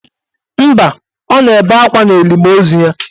Mba, o na-ebe akwa n'elimo ozu ya.